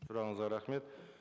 сұрағыңызға рахмет